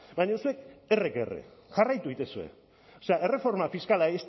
baina zuek erre que erre jarraitu egiten duzue o sea erreforma fiskala